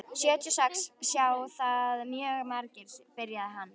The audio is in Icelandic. Sjötíu og sex sjá það mjög margir, byrjaði hann.